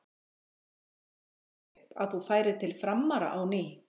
Hvernig kom það upp að þú færir til Framara á ný?